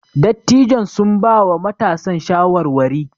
Dattijon sun bawa matasan shawarwari.